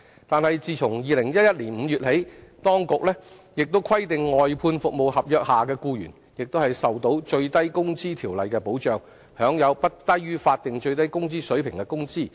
但自2011年5月起，當局亦規定外判服務合約下的僱員亦受到《最低工資條例》的保障，享有不低於法定最低工資水平的工資。